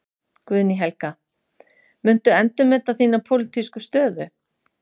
Guðný Helga: Muntu endurmeta þína pólitísku stöðu?